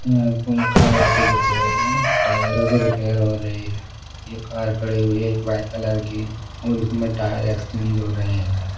ये अ कारों की रिपेयर टायरों की रिपेयर हो रही है ये कार खड़ी हुई है एक वाइट कलर की और इसमें टायर एक्सचेंज हो रहे हैं।